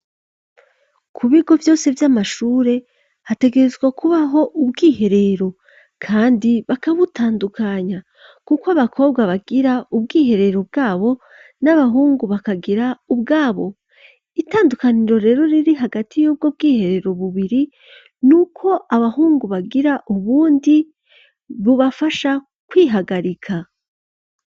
Ku bigo vyose vy'amashure hategerezwa kubaho ubwiherero kandi bakabutandukanya kuko abakobwa bagira ubwiherero bwabo n'abahungu bakagira ubwabo itandukaniro rero riri hagati y'ubwo bwiherero bubiri ni'uko abahungu bagira ubundi bubafasha kwihagarika.